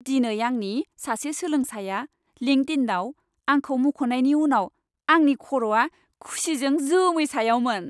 दिनै आंनि सासे सोलोंसाया लिंक्डइनआव आंखौ मुंख'नायनि उनाव आंनि खर'आ खुसिजों जोमै सायावमोन।